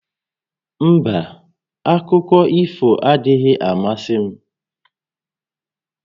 Mba, akụkọ ifo adịghị amasị m